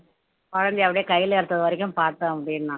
குழந்தையை அப்படியே கையில எடுத்தது வரைக்கும் பாத்தோம் அப்படின்னா